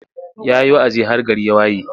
Ya yi wa'azi har gari ya waye.